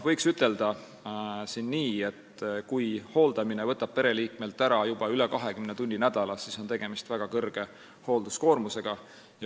Võiks ütelda nii, et kui hooldamine võtab pereliikmelt üle 20 tunni nädalas, siis on tegemist väga suure hoolduskoormusega.